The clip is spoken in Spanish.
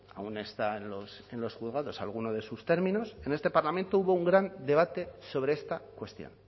aun está en los juzgados alguno de sus términos en este parlamento hubo un gran debate sobre esta cuestión